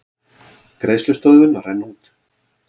Greiðslustöðvun að renna út